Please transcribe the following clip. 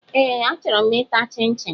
Ee achọrọ m ịta chin-chin